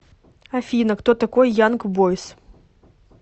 афина кто такой янг бойз